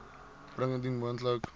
bring indien moontlik